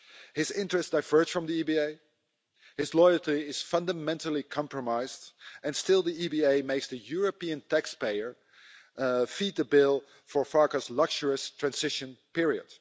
His interests diverge from the EBA, his loyalty is fundamentally compromised, and still the EBA makes the European taxpayer feed the bill for Farkas' luxurious transition period.